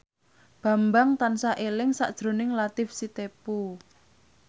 Bambang tansah eling sakjroning Latief Sitepu